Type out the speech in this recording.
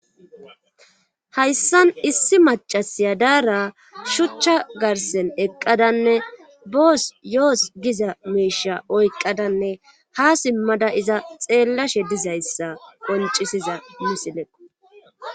Hayssan issi macasiya daara shuchcha garsen eqqadanne boos yoos giza meesha oyqqadanne ha simmada iza xeellashe dizayssa qoncisiza misileqo.